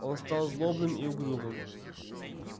он стал злобным и угрюмым